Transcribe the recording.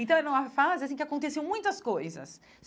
Então, era uma fase assim que aconteciam muitas coisas.